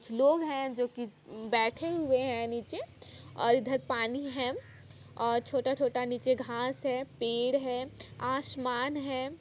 लोग है जो कि बैठे हुए है नीचे और इधर पानी है और छोटा-छोटा नीचे घास है पेड़ है आसमान है।